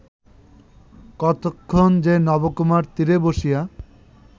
কতক্ষণ যে নবকুমার তীরে বসিয়া